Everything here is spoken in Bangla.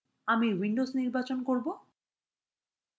আমি windows নির্বাচন করব